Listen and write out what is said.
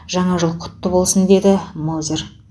жаңа жыл құтты болсын деді мозер